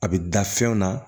A bɛ da fɛnw na